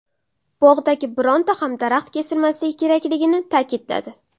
Bog‘dagi bironta ham daraxt kesilmasligi kerakligini ta’kidladi.